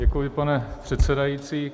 Děkuji, pane předsedající.